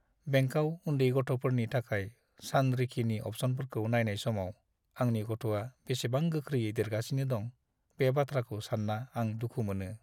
बेंकाव उन्दै गथ'फोरनि थाखाय सानरिखिनि अप्सनफोरखौ नायनाय समाव आंनि गथ'आ बेसेबां गोख्रैयै देरगासिनो दं, बे बाथ्राखौ सान्ना आं दुखु मोनो।